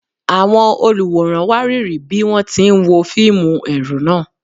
Àwọn olùwòran wárìrì bí wọ́n ti ń wo fíìmù ẹ̀rù náà.